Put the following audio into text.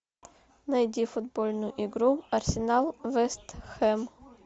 найди футбольную игру арсенал вест хэм